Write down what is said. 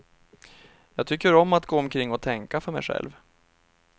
Jag tycker om att gå omkring och tänka för mig själv.